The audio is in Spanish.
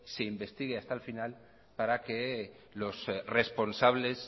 se investigue hasta el final para que los responsables